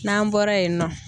N'an bɔra yen nɔ